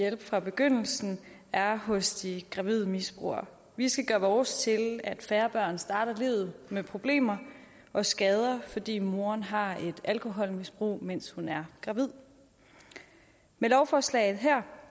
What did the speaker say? at hjælpe fra begyndelsen er hos de gravide misbrugere vi skal gøre vores til at færre børn starter livet med problemer og skader fordi moderen har et alkoholmisbrug mens hun er gravid med lovforslaget her